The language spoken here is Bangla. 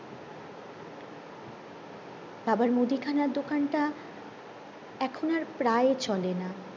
বাবার মুদিখানার দোকান টা এখন আর প্রায় চলে না